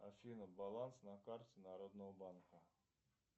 афина баланс на карте народного банка